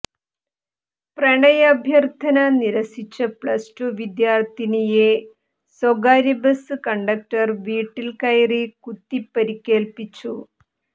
പ്രണയാഭ്യർഥന നിരസിച്ച plus two വിദ്യാർഥിനിയെ സ്വകാര്യബസ് കണ്ടക്ടർ വീട്ടിൽ കയറി കുത്തിപ്പരിക്കേൽപ്പിച്ചു